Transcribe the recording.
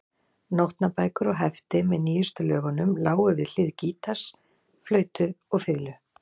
Nótnabækur og hefti með nýjustu lögunum lágu við hlið gítars, flautu og fiðlu.